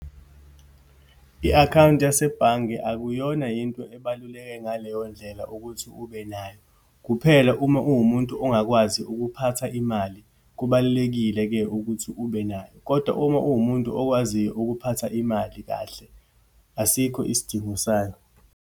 I-akhawunti yasebhange akuyona yinto ebaluleke ngaleyo ndlela ukuthi ube nayo. Kuphela uma uwumuntu ongakwazi ukuphatha imali, kubalulekile-ke ukuthi ube nayo. Kodwa uma uwumuntu okwaziyo ukuphatha imali kahle, asikho isidingo sayo.